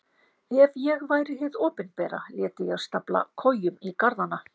Ef ég væri hið opinbera léti ég stafla kojum í garðana.